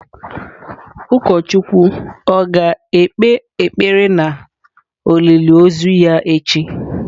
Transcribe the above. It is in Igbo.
Ụkọchukwu ọ̀ ga-ekpe ekpere na olili ozu ya echi?